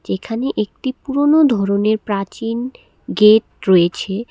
যেখানে একটি পুরনো ধরনের প্রাচীন গেট রয়েছে।